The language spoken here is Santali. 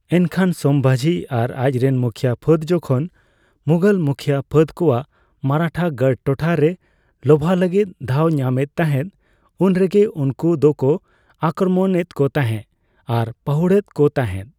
ᱮᱱᱠᱷᱟᱱ, ᱥᱚᱢᱵᱷᱟᱡᱤ ᱟᱨ ᱟᱡ ᱨᱮᱱ ᱢᱩᱠᱷᱤᱭᱟᱹ ᱯᱷᱟᱹᱫ ᱡᱚᱠᱷᱚᱱ ᱢᱩᱜᱷᱚᱞ ᱢᱩᱠᱷᱤᱭᱟᱹ ᱯᱷᱟᱹᱫ ᱠᱚᱣᱟᱜ ᱢᱟᱨᱟᱴᱷᱟ ᱜᱟᱲ ᱴᱚᱴᱷᱟ ᱨᱮ ᱞᱚᱵᱷᱟᱣ ᱞᱟᱹᱜᱤᱛ ᱫᱷᱟᱣ ᱠᱚ ᱧᱟᱢᱮᱫ ᱛᱟᱦᱮᱫ ᱩᱱᱨᱮᱜᱮ ᱩᱱᱠᱩ ᱫᱚ ᱠᱚ ᱟᱠᱠᱨᱚᱢᱚᱱ ᱮᱫᱠᱚ ᱛᱟᱸᱦᱮ ᱟᱨ ᱯᱟᱦᱩᱲᱼᱮᱫ ᱠᱚ ᱛᱟᱸᱦᱮᱫ ᱾